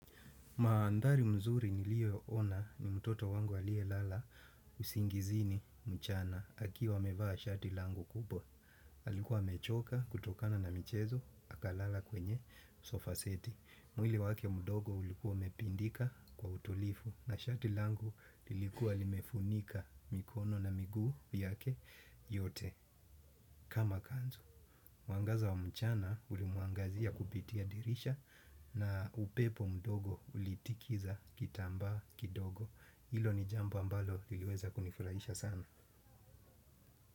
Maandhari mzuri niliyo ona ni mtoto wangu aliyelala usingizini mchana akiwa amevaa shati langu kubwa. Alikuwa amechoka kutokana na michezo, akalala kwenye sofaseti. Mwili wake mdogo ulikuwa umepindika kwa utulivu na shati langu lilikuwa limefunika mikono na migu yake yote kama kanzu. Mwangaza wa mchana ulimuangazia kupitia dirisha na upepo mdogo ulitikiza kitambaa kidogo. Hilo ni jambo ambalo liliweza kunifurahisha sana.